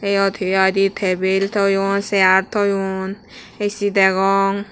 eyot he hoidi table toyoun chair toyoun A_C degong.